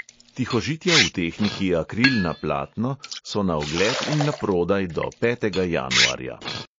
Tihožitja v tehniki akril na platno so na ogled in naprodaj do petega januarja.